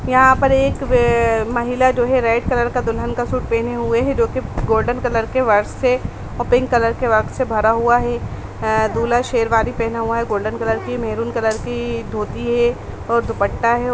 यहाँ पर एक बे महिला जो है रेड कलर का दुल्हन का सूट पहने हुए हैं जो की गोल्डन कलर के वर्क से और पिंक कलर वर्क से भरा हुआ हैं अ दूल्हा शेरवानी पहना हुआ है गोल्डन कलर कि मैरून कलर की धोती हैं और दुपट्टा हैं।